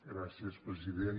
gràcies president